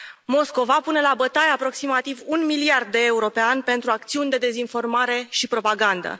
Moscova pune la bătaie aproximativ un miliard de euro pe an pentru acțiuni de dezinformare și propagandă.